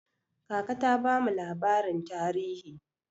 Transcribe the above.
Kaka ta bamu labarin tarihi.